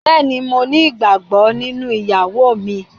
Bẹ́ẹ̀ni, mo ní ìgbàgbọ́ nínú ìyàwó mi.